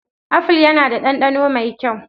Apple yana da dandano mai kyau.